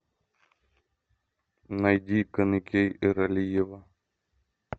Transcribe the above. найди каныкей эралиева